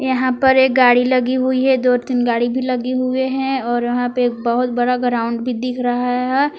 यहां पर एक गाड़ी लगी हुई है दो तीन गाड़ी भी लगी हुएं हैं और वहां पे एक बहुत बड़ा ग्राउंड भी दिख रहा है।